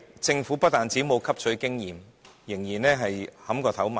政府不但沒有汲取經驗，反而依然"撼頭埋牆"。